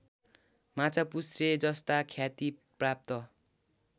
माछापुच्छ्रेजस्ता ख्याति प्राप्त